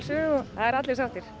það eru allir sáttir